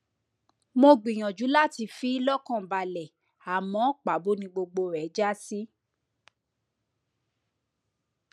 mo gbìyànjú láti fi í lọkàn balẹ àmọ pàbó ni gbogbo rẹ já sí